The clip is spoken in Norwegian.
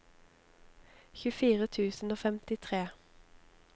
tjuefire tusen og femtitre